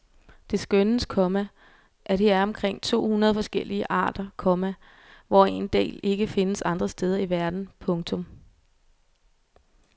Det skønnes, komma at her er omkring to hundrede forskellige arter, komma hvoraf en del ikke findes andre steder i verden. punktum